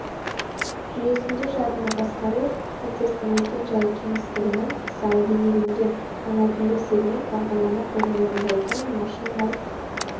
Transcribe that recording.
жүйесінде жадыны басқару процестің мекен-жайы кеңістігінің мысалы бейнеленген ал мәтіндік сегмент бағдарлама кодын орындайтын машиналық